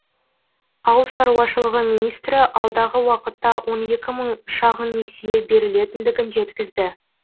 ауыл шаруашылығы министрі алдағы уақытта он екі мың шағын несие берілетіндігін жеткізді